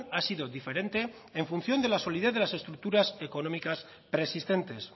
ha sido diferente en función de la solidez de las estructuras económicas preexistentes